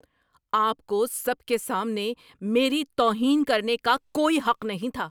آپ کو سب کے سامنے میری توہین کرنے کا کوئی حق نہیں تھا۔